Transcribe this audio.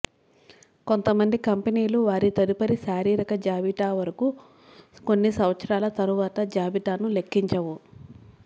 కొంతమంది కంపెనీలు వారి తదుపరి శారీరక జాబితా వరకు కొన్ని సంవత్సరాల తరువాత జాబితాను లెక్కించవు